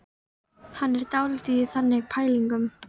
Hann er dálítið í þannig pælingum.